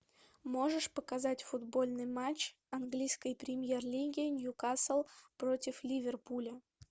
можешь показать футбольный матч английской премьер лиги ньюкасл против ливерпуля